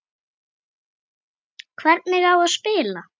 Hvernig á spila?